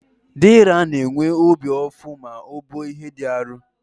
Deraa na-enwe obi ụfụ ma o buo ihe dị arụ.